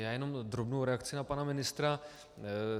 Já jenom drobnou reakci na pana ministra.